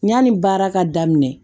Yanni baara ka daminɛ